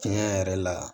Tiɲɛ yɛrɛ la